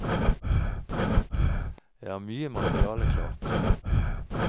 Jeg har mye materiale klart.